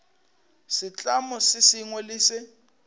setlamo se sengwe le se